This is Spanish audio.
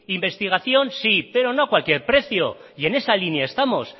investigación sí pero no a cualquier precio y en esa línea estamos